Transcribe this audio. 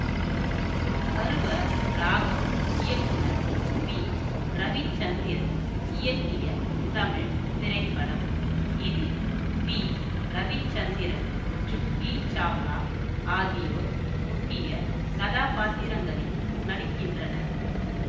பருவ ராகம் இயக்குனர் விரவிச்சந்திரன் இயக்கிய தமிழ் திரைப்படம் இதில் விரவிச்சந்திரன் ஜூஹி சாவ்லா ஆகியோர் முக்கிய கதாபாத்திரங்களில் நடிக்கின்றனர்